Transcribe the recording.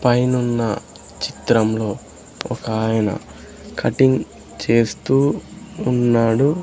పైనున్న చిత్రంలో ఒకాయన కటింగ్ చేస్తూ ఉన్నాడు.